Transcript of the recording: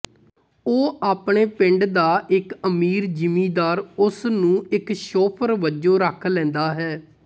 ਉਹ ਆਪਣੇ ਪਿੰਡ ਦਾ ਇੱਕ ਅਮੀਰ ਜਿੰਮੀਦਾਰ ਉਸਨੂੰ ਇੱਕ ਸ਼ੋਫਰ ਵਜੋਂ ਰੱਖ ਲੈਂਦਾ ਹੈ